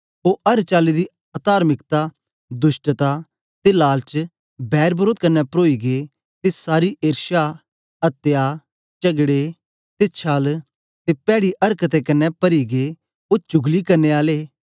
ओ अर चाली दी अतार्मिकता दुष्टता ते लालच बैर वरोध कन्ने परोई गै ते सारी एर्षा अत्या चगड़े ते छल ते पैड़ी अरक्तें कन्ने परी गै ओ चुगली करने आले